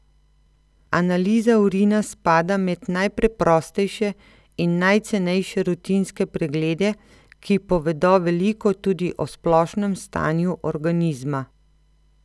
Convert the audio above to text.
Analiza urina spada med najpreprostejše in najcenejše rutinske preglede, ki povedo veliko tudi o splošnem stanju organizma.